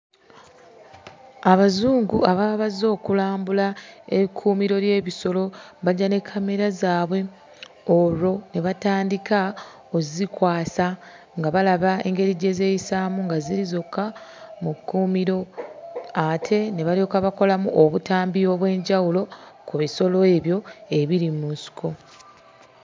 Abazungu ababa bazze okulambula ekkuumiro ly'ebisolo bajja ne kkamera zaabwe olwo ne batandika ozzikwasa nga balaba engeri gye zeeyisaamu nga ziri zokka mu kkuumiro. Ate ne balyoka bakolamu obutambi obw'enjawulo ku bisolo ebyo ebiri mu nsiko.